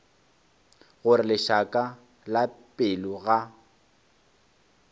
gore lešaka la pelo ga